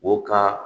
O ka